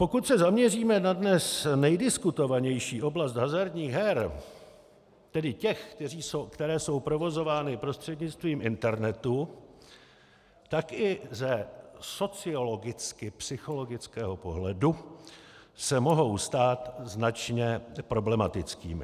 Pokud se zaměříme na dnes nejdiskutovanější oblast hazardních her, tedy těch, které jsou provozovány prostřednictvím internetu, tak i ze sociologicky-psychologického pohledu se mohou stát značně problematickými.